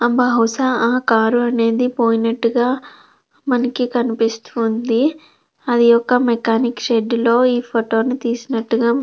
ఆ బహుశా ఆ కారు అనేది పోయినట్టుగా మనకి కనిపిస్తుంది అది ఒక మెకానిక్ షెడ్డు లో ఈ ఫోటో ని తీసినట్టుగా వుంది.